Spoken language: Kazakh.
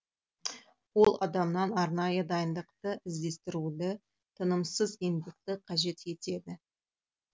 ол адамнан арнайы дайындықты іздестіруді тынымсыз еңбекті қажет етеді